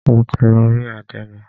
Mo ti lọ rí àdénì.